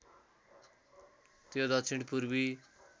त्यो दक्षिण पूर्वी